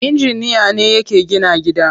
Inginiya ne yake gina gida.